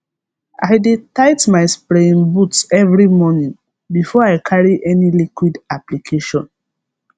i dey tight my spraying boots every morning before i carry any liquid application